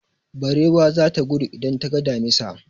Barewa za ta gudu idan ta ga damisa.